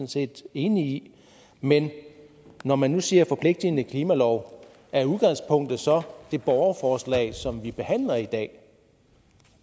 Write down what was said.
set enig i men når man nu siger forpligtende klimalov er udgangspunktet så det borgerforslag som vi behandler i dag